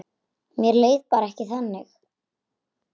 Mér leið bara ekki þannig.